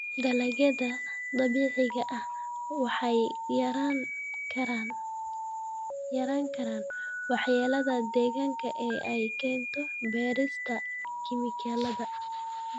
Dalagyada dabiiciga ahi waxay yarayn karaan waxyeelada deegaanka ee ay keento beerista kiimikada.